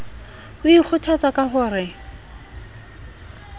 o ikgothatsa ka ho re